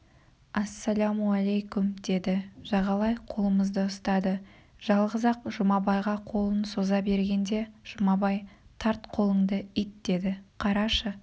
ассалаумалейкум деді жағалай қолымызды ұстады жалғыз-ақ жұмабайға қолын соза бергенде жұмабай тарт қолыңды ит деді қарашы